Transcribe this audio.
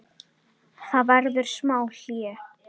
Það verður smá hlé.